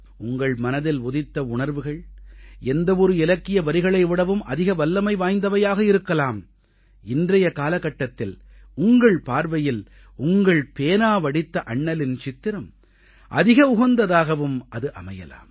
உங்கள் மனதில் உதித்த உணர்வுகள் எந்த ஒரு இலக்கிய வரிகளை விடவும் அதிக வல்லமை வாய்ந்தவையாக இருக்கலாம் இன்றைய காலகட்டத்தில் உங்கள் பார்வையில் உங்கள் பேனா வடித்த அண்ணலின் சித்திரம் அதிக உகந்ததாகவும் அது அமையலாம்